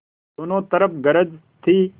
दोनों तरफ गरज थी